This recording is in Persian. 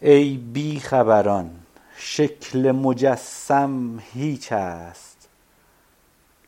ای بیخبران شکل مجسم هیچ است